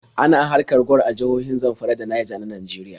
Ana haƙar gwal a jihohin Zamfara da Naija na Nageriya.